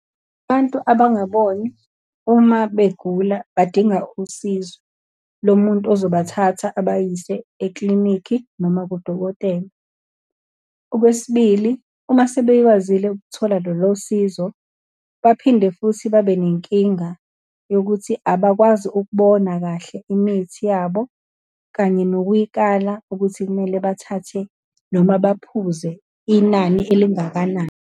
Abantu abangaboni uma begula badinga usizo lo muntu ozobathatha ubayise eklinikhi, noma kudokotela. Okwesibili, uma sebekwazile ukuthola lolo sizo, baphinde futhi babe nenkinga yokuthi abakwazi ukubona kahle imithi yabo, kanye nokuyikala ukuthi kumele bathathe, noma baphuze inani elingakanani.